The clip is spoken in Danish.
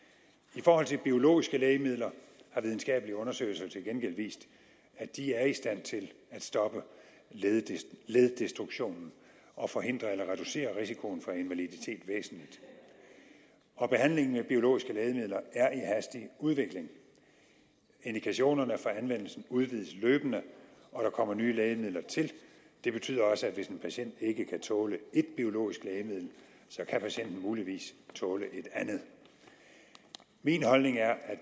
i forhold til biologiske lægemidler har videnskabelige undersøgelser til gengæld vist at de er i stand til at stoppe leddestruktionen og forhindre eller reducere risikoen for invaliditet væsentligt og behandlingen med biologiske lægemidler er i hastig udvikling indikationerne for anvendelsen udvides løbende og der kommer nye lægemidler til det betyder også at hvis en patient ikke kan tåle et biologisk lægemiddel kan patienten muligvis tåle et andet min holdning er at